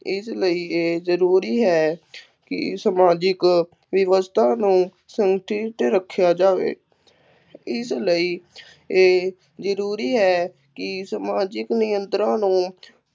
ਇਸ ਲਈ ਇਹ ਜ਼ਰੂਰੀ ਹੈ ਕਿ ਸਮਾਜਿਕ ਵਿਵਸਥਾ ਨੂੰ ਸੰਤ੍ਰਿਪਤ ਰੱਖਿਆ ਜਾਵੇ, ਇਸ ਲਈ ਇਹ ਜ਼ਰੂਰੀ ਹੈ ਕਿ ਸਮਾਜਿਕ ਨਿਯੰਤਰਣ ਨੂੰ